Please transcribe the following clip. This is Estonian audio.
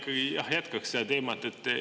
Ma ikkagi jätkan seda teemat.